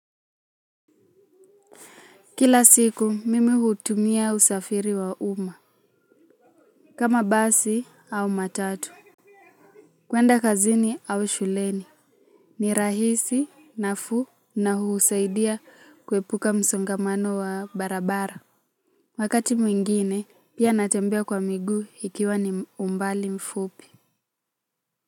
Kila siku mimi hutumia usafiri wa uma. Kama basi au matatu kwenda kazini au shuleni ni rahisi nafuu na husaidia kuepuka msongamano wa barabara. Wakati mwingine pia natembea kwa miguu ikiwa ni umbali mfupi.